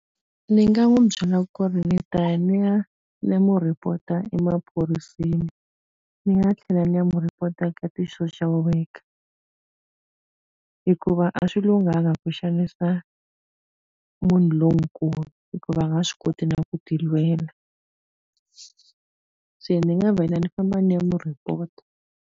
Ndzi nga n'wi byela ku ri ndzi ta ya ni ya ni ya n'wi report-a emaphoriseni. Ni nga tlhela ni ya n'wi report-a ka ti-social worker. Hikuva a swi lunghanga ku xanisa munhu lonkulu, hikuva a nga swi koti na ku ti lwela. Se ni nga vela ni famba ni ya n'wi report-a.